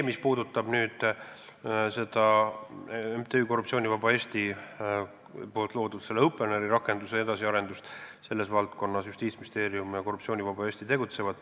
Mis puudutab MTÜ Korruptsioonivaba Eesti loodud Openeri rakenduse edasiarendust, siis selles valdkonnas Justiitsministeerium ja Korruptsioonivaba Eesti tegutsevad.